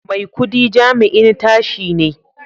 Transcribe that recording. Maikudi jami'in tashi ne